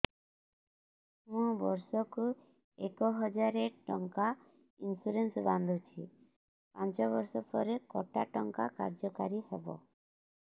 ମୁ ବର୍ଷ କୁ ଏକ ହଜାରେ ଟଙ୍କା ଇନ୍ସୁରେନ୍ସ ବାନ୍ଧୁଛି ପାଞ୍ଚ ବର୍ଷ ପରେ କଟା ଟଙ୍କା କାର୍ଯ୍ୟ କାରି ହେବ